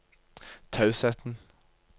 tausheten